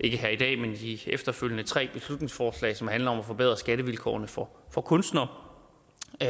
ikke her i dag men de efterfølgende tre beslutningsforslag som handler om at forbedre skattevilkårene for for kunstnere